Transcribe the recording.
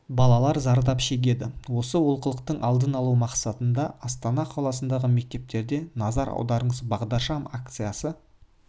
балалар зардап шегеді осы олқылықтың алдын алу мақсатында астана қаласындағы мектептерде назар аударыңыз бағдаршам акциясы